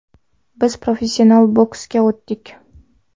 Biz professional boksga o‘tdik.